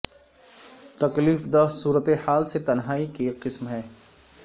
تکلیف دہ صورتحال سے تنہائی کی ایک قسم ہے